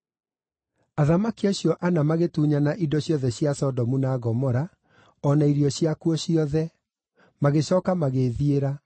Athamaki acio ana magĩtunyana indo ciothe cia Sodomu na Gomora o na irio ciakuo ciothe; magĩcooka magĩĩthiĩra.